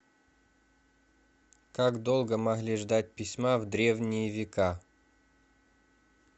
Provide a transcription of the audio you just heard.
как долго могли ждать письма в древние века